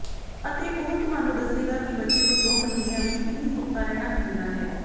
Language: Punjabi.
ਅਤੇ ਉਹ ਤੁਹਾਨੂੰ ਦੱਸੇਗਾ ਕਿ ਬੱਚੇ ਨੂੰ ਦੋ ਮਹੀਨਿਆਂ ਵਿੱਚ ਕਿੰਨੀ ਸੁੱਤਾ ਰਹਿਣਾ ਚਾਹੀਦਾ ਹੈ